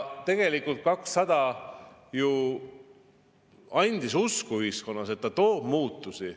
Tegelikult Eesti 200 andis ju ühiskonnas, et ta toob muutusi.